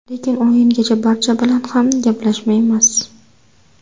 Lekin o‘yingacha barcha bilan ham gaplashmaymiz.